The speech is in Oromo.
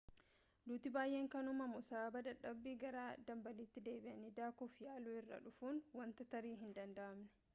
duuti baayyeen kan uumamu sababa dadhabbii gara dambaliitti deebi'anii daakuuf yaaluu irraa dhufuuni wanta tarii hin danda'amne